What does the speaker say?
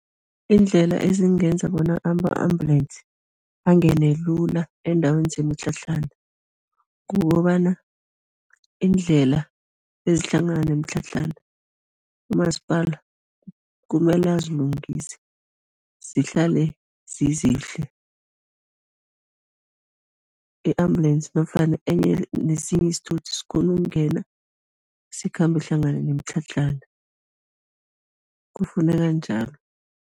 Iindlela ezingenza bona ama-ambulance angene lula eendaweni zemitlhatlhana, kukobana iindlela ezihlangana nemitlhatlhana, umasipala kumele azilungise, zihlale zizihle, i-ambulensi nofana enye nesinye isithuthi sikghone ukungena, sikhambe hlangana nemitlhatlhana, kufuneka njalo.